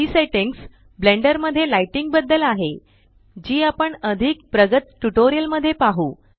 ही settings blender मध्ये lighting बद्दल आहे जी आपण अधिक प्रगत ट्यूटोरियल मध्ये पाहु